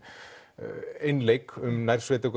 einleik um